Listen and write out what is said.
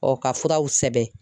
ka furaw sɛbɛn